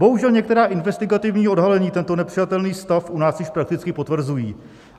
Bohužel, některá investigativní odhalení tento nepřijatelný stav u nás již prakticky potvrzují.